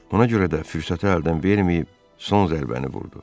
Ona görə də fürsəti əldən verməyib son zərbəni vurdu.